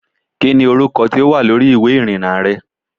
Kí ni orúkọ tí ó wà lórí ìwé ìrìnnà rẹ?